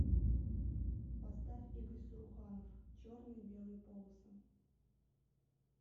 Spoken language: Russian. поставь игорь саруханов черные белые полосы